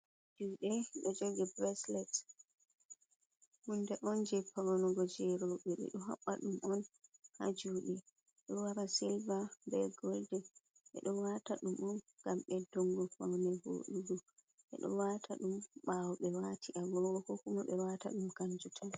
Juɗe ɗo jogi breslet. Hunde on je faunugo jei robe. Ɓe ɗo habba ɗum on ha juɗe. Ɗo wara silva, be goldin ɓe ɗo wata ɗum on ngam ɓeddungo faune voɗugo. Ɓe ɗo wata ɗum ɓawo ɓe wati agogo. Ko kuma be ɗo wata ɗum kanjum tan.